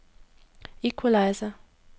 equalizer